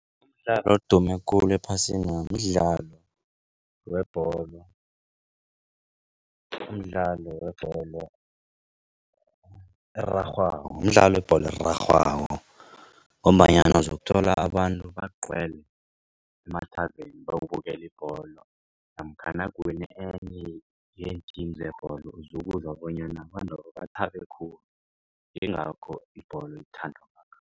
Umdlalo odume khulu ephasina mdlalo webholo. Mdlalo webholo erarhwako mdlalo webholo erarhwako. Ngombanyana zokuthola abantu bagcwele emathaveni boyokubukela ibholo namkha nakuwine enye yeen-team zebholo uzokuzwa bonyana abantwaba bathabe khulu yingakho ibholo ithandwa kangaka.